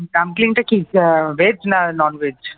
Dumpling টা কি veg না non veg?